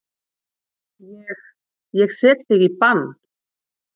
Ég. ég set þig í bann!